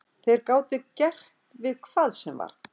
Þeir gátu gert við hvað sem var.